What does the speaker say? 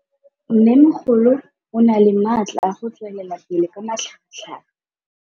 Mmêmogolo o na le matla a go tswelela pele ka matlhagatlhaga.